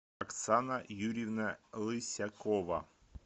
оксана юрьевна лысякова